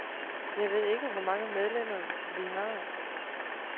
Jeg ved ikke, hvor mange medlemmer vi har.